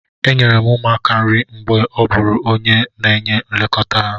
Enyere m ụmụaka nri mgbe m bụụrụ onye na-enye nlekọta ha.